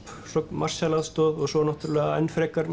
Marshall aðstoð og svo náttúrulega enn frekar